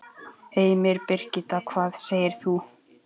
Heimir: Birgitta, hvað segir þú?